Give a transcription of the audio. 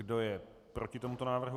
Kdo je proti tomuto návrhu?